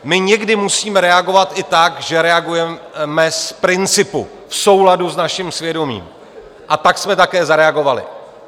My někdy musíme reagovat i tak, že reagujeme z principu, v souladu s naším svědomím, a tak jsme také zareagovali.